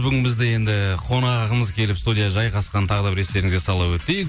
бүгін бізде енді қонағымыз келіп студияға жайғасқан тағы да бір естеріңізге сала өтейік